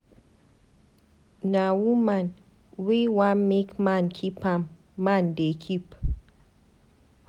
Notin wey I no fit do for my bobo, I too love am.